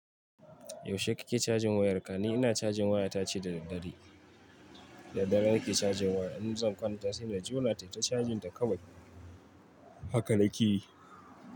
Yaushe kake cajin wayarka? Ni ina cajin waya tace da daddare. Da dare nake cajin waya. In zan kwanta sai na jona ta yi ta cajin ta kawai haka nake yi.